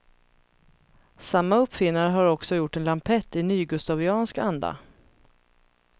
Samma uppfinnare har också gjort en lampett i nygustaviansk anda.